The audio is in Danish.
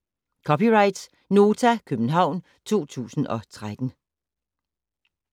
(c) Nota, København 2013